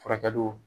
Furakɛliw